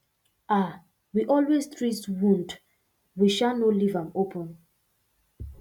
um we always treat wound we um no leave am open